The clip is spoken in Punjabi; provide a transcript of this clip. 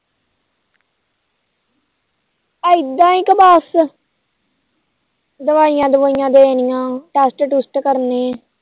ਐਦਾ ਕੁ ਬਸ ਦਵਾਈਆਂ ਦੁਵਾਈ ਦੇਣੀਆੰ test trust ਕਰਨੇ